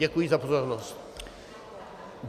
Děkuji za pozornost.